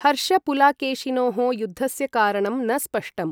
हर्षपुलाकेशिनोः युद्धस्य कारणं न स्पष्टम्।